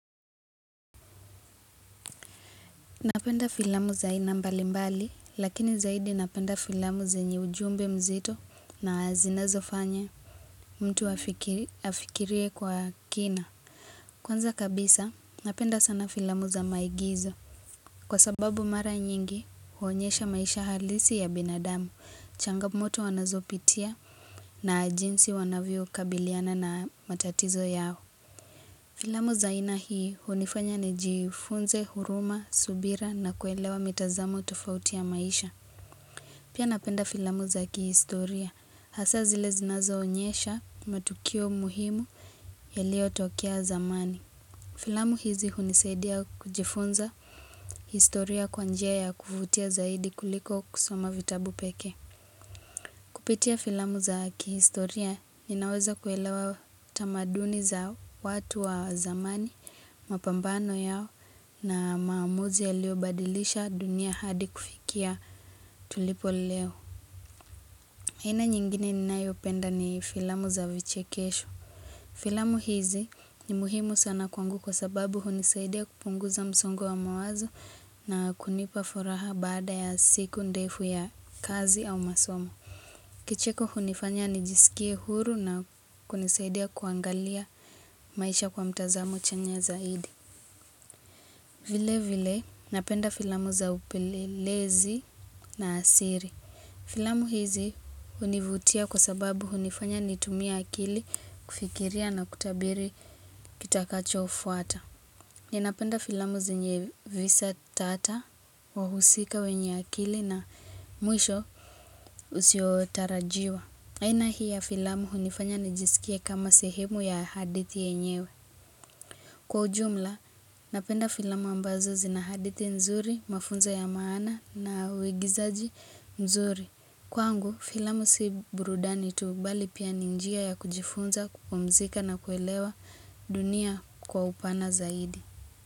Napenda filamu za aina mbali mbali, lakini zaidi napenda filamu zenye ujumbe mzito na zinazo fanya mtu afikirie kwa kina. Kwanza kabisa, napenda sana filamu za maigizo. Kwa sababu mara nyingi huonyesha maisha halisi ya binadamu, changamoto anazo pitia na jinsi wanavyo kabiliana na matatizo yao. Filamu za aina hii unifanya ni jifunze, huruma, subira na kuelewa mitazamo tofauti ya maisha. Pia napenda filamu za kihistoria. Hasa zile zinazo onyesha matukio muhimu ya liyo tokea zamani. Filamu hizi unisaidia kujifunza historia kwa njia ya kuvutia zaidi kuliko kusoma vitabu pekee. Kupitia filamu za kihistoria, ninaweza kuelewa tamaduni za watu wa zamani, mapambano yao na maamuzi ya liobadilisha dunia hadi kufikia tulipo leo. Aina nyingine ninayopenda ni filamu za vichekesho. Filamu hizi ni muhimu sana kwangu kwa sababu hunisaidia kupungu za msongo wa mawazo na kunipa furaha baada ya siku ndefu ya kazi au masomo. Kicheko hunifanya nijisikie huru na kunisaidia kuangalia maisha kwa mtazamo chanya zaidi vile vile napenda filamu za upelelezi na asiri Filamu hizi univutia kwa sababu hunifanya nitumie akili kufikiria na kutabiri kitakachofuata Ninapenda filamu zenye visa tata wahusika wenye akili na mwisho usiotarajiwa aina hii ya filamu hunifanya nijisikie kama sehemu ya hadithi enyewe Kwa ujumla, napenda filamu ambazo zi na hadithi nzuri, mafunzo ya maana na uigizaji nzuri Kwangu, filamu si burudani tu bali pia ni njia ya kujifunza, kupumzika na kuelewa dunia kwa upana zaidi.